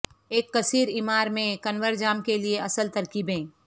ایک کثیر عمار میں کنور جام کے لئے اصل ترکیبیں